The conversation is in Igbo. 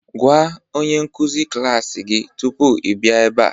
Gwa onye nkuzi klas gị tupu ị bịa ebe a